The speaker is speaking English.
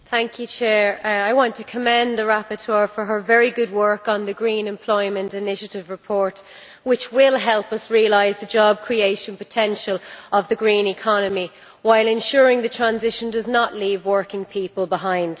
Madam President, I want to commend the rapporteur on her very good work on the Green Employment Initiative report, which will help us realise the job creation potential of the green economy while ensuring that the transition does not leave working people behind.